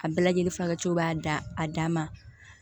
A bɛɛ lajɛlen fagacogo b'a dan a dan ma